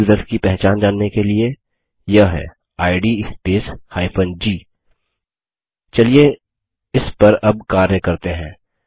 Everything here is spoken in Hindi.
ग्रुप यूज़र्स की पहचान जानने के लिए यह है इद स्पेस g चलिए इस पर अब कार्य करते हैं